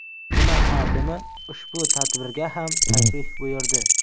Tuman hokimi ushbu tadbirga ham tashrif buyurdi.